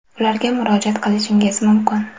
Ularga murojaat qilishingiz mumkin.